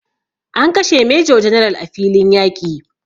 An kashe major general a filiin yaƙi